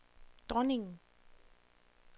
dronningen